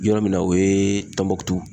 Yɔrɔ min na, o ye tɔnbukutu.